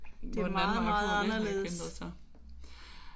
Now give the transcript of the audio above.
Hvor den anden vej at gå den har ikke ændret sig